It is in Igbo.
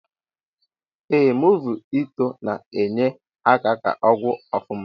Eeh movi ituo na enye aka ka ọgwụ ofụma.